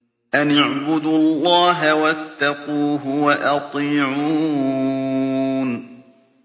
أَنِ اعْبُدُوا اللَّهَ وَاتَّقُوهُ وَأَطِيعُونِ